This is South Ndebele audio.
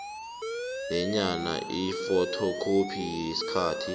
nenye ifothokhophi yekhasi